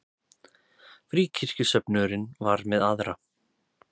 Fríkirkjusöfnuðurinn var með aðra.